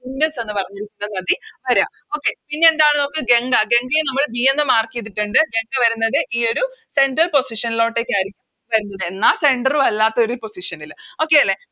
Indus എന്ന് പറഞ്ഞിരിക്കുന്ന നദി വര പിന്നെ എന്താണ് നോക്ക് ഗംഗ ഗംഗയെ നമ്മള് B എന്ന് Mark ചെയ്‌തിട്ടിണ്ട് ഗംഗ വരുന്നത് ഈയൊരു Central position ലോട്ടെക്കരിക്കും എന്നാൽ Center ഉം അല്ലാത്ത ഒര് Position ല് Okay അല്ലെ